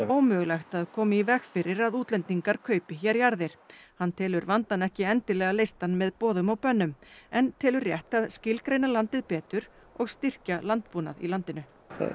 ómögulegt að koma í veg fyrir að útlendingar kaupi hér jarðir hann telur vandann ekki endilega leystan með boðum og bönnum en telur rétt að skilgreina landið betur og styrkja landbúnað í landinu